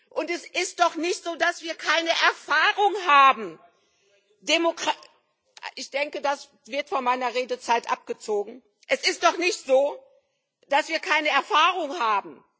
Und es ist doch nicht so, dass wir keine Erfahrung haben!